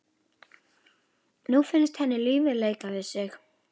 Nú finnst henni lífið leika við sig.